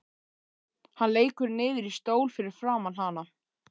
Hann lekur niður í stól fyrir framan hana.